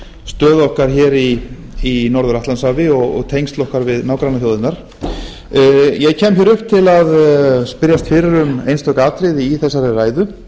stöðu okkar hér í norður atlantshafi og tengsl okkar við nágrannaþjóðirnar ég kem hér upp til að spyrjast fyrir um einstök atriði í þessari ræðu